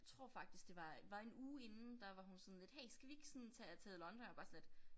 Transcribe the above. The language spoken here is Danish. Tror faktisk det var var en uge inden der var hun sådan lidt hey skal vi ikke sådan tage til London jeg var bare sådan lidt